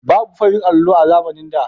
Babu farin allo a zamanin da